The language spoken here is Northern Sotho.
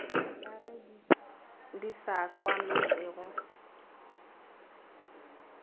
ka ge di sa kwametšege